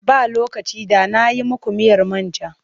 Ba lokaci da na yi muku miyar man ja.